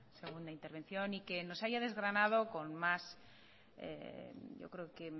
segunda intervención y que nos haya desgranado con más yo creo que